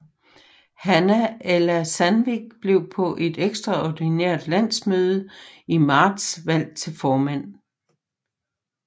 Hanna Ella Sandvik blev på et ekstraordinært landsmøde i marts valgt til formand